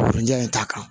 ja in t'a kan